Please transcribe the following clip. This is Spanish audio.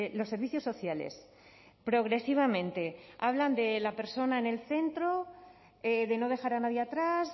los servicios sociales progresivamente hablan de la persona en el centro de no dejar a nadie atrás